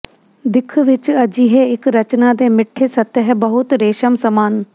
ਦਿੱਖ ਵਿੱਚ ਅਜਿਹੇ ਇੱਕ ਰਚਨਾ ਦੇ ਮਿੱਠੇ ਸਤਹ ਬਹੁਤ ਰੇਸ਼ਮ ਸਮਾਨ